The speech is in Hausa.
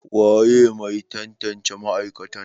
waye Mai tantance ma'aikatan?